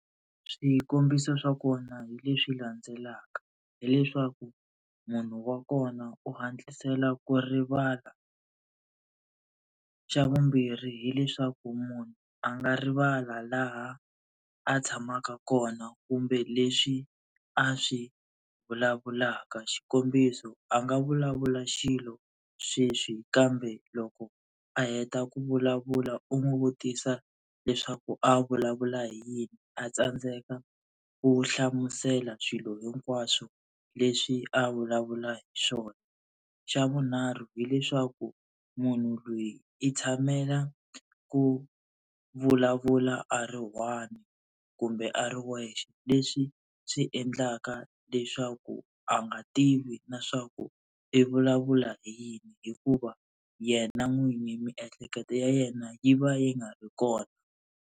Swikombiso swa kona hi leswi landzelaka. Hi leswaku munhu wa kona u hatlisela ku rivala. Xa vumbirhi hileswaku munhu a nga rivala laha a tshamaka kona kumbe leswi a swi vulavulaka, xikombiso a nga vulavula xilo sweswi kambe loko a heta ku vulavula u n'wi vutisa leswaku a vulavula hi yini a tsandzeka ku hlamusela swilo hinkwaswo leswi a vulavula hi swona. xa vunharhu hileswaku munhu loyi i tshamela ku vulavula a ri one kumbe a ri wexe, leswi swi endlaka leswaku a nga tivi na leswaku i vulavula hi yini hikuva yena n'wini miehleketo ya yena yi va yi nga ri kona.